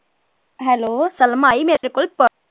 Hello Salma I